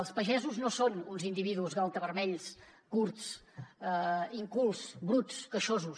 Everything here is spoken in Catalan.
els pagesos no són uns individus galtavermells curts incultes bruts queixosos